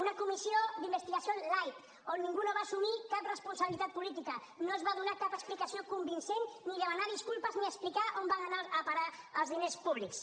una comissió d’investigació light on ningú no va assumir cap responsabilitat política no es va donar cap explicació convincent ni demanar disculpes ni explicar on van anar a parar els diners públics